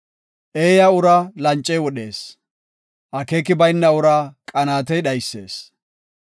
Eeya uraa lancey wodhees; akeeki bayna uraa qanaatey dhaysees.